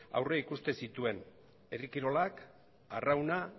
aurreikusten zituen herri kirolak arrauna